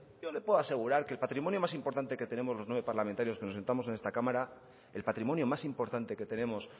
yo le puedo asegurar que el patrimonio más importante que tenemos los nueve parlamentarios que nos sentamos en esta cámara el patrimonio más importante que tenemos